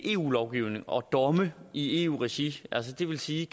eu lovgivning og domme i eu regi det vil sige